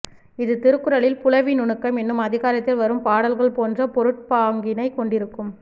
இது திருக்குறளில் புலவி நுணுக்கம் என்னும் அதிகாரத்தில் வரும் பாடல்கள் போன்ற பொருட்பாங்கினைக் கொண்டிருக்கும்